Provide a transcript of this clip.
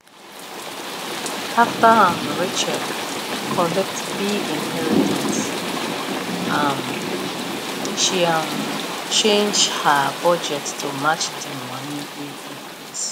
after um rachel collect big inheritance um she um change her budget to match the money wey increase